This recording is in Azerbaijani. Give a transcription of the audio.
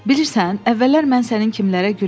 Bilirsən, əvvəllər mən sənin kimlərə gülürdüm.